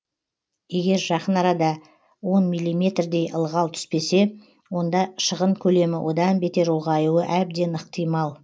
егер жақын арада он миллиметрдей ылғал түспесе онда шығын көлемі одан бетер ұлғаюы әбден ықтимал